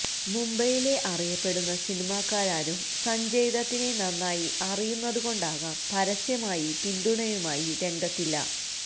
മുംബൈയിലെ അറിയപ്പെടുന്ന സിനിമാക്കാരാരും സഞ്ജയ്ദത്തിനെ നന്നായി അറിയുന്നതുകൊണ്ടാകാം പരസ്യമായി പിന്തുണയുമായി രംഗത്തില്ല